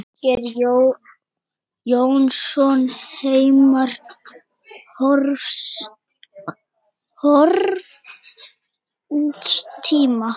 Margeir Jónsson, Heimar horfins tíma.